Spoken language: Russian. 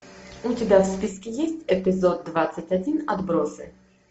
у тебя в списке есть эпизод двадцать один отбросы